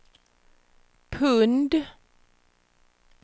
pund